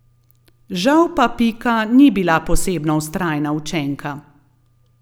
Žal pa Pika ni bila posebno vztrajna učenka.